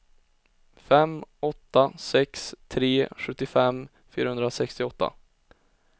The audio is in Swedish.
fem åtta sex tre sjuttiofem fyrahundrasextioåtta